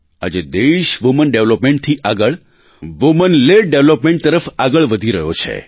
આજે દેશ વુમન Developmentથી આગળ વુમન લેડ ડેવલપમેન્ટ તરફ આગળ વધી રહ્યો છે